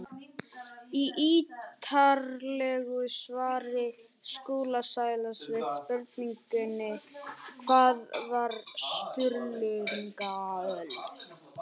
Í ítarlegu svari Skúla Sælands við spurningunni Hvað var Sturlungaöld?